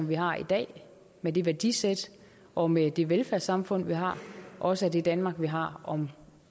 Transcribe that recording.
vi har i dag med det værdisæt og med det velfærdssamfund vi har også er det danmark vi har om